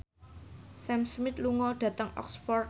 Sam Smith lunga dhateng Oxford